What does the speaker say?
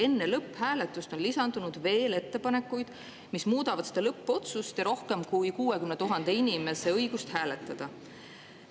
Enne lõpphääletust on lisandunud veel ettepanekuid, mis muudavad seda lõppotsust ja rohkem kui 60 000 inimese õigust hääletada.